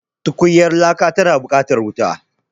Tukunyar laka yana buƙatar wuta.